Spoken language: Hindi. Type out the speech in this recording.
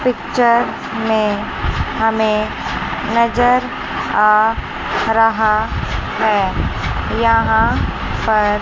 पिक्चर में हमें नजर आ रहा है यहां पर--